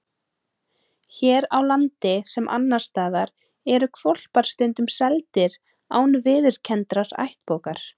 Hér á landi, sem annars staðar, eru hvolpar stundum seldir án viðurkenndrar ættbókar.